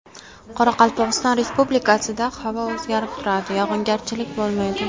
Qoraqalpog‘iston Respublikasida havo o‘zgarib turadi, yog‘ingarchilik bo‘lmaydi.